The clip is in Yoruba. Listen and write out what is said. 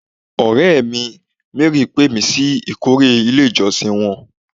Ọ̀rẹ́ mi, Mary pé mi sí ìkórè ilé ìjọsìn wọn